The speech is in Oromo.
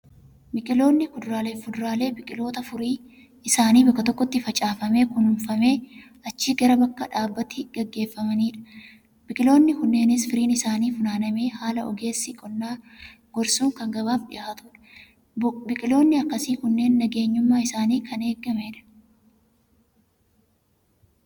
Biqiloonni kuduraalee fi fuduraalee, biqiloota furii isaanii bakka tokkotti facaafamee, kunuunfamee, achi gara bakka dhaabbiitti geeffamanidha. Biqiloonni kunneenis firiin isaanii funaanamee, haala ogeessi qonnaa gorsuun kan gabaaf dhihaatudha. Biqiloonni akkasii kunneen nageenyummaan isaanii kan eegamedha.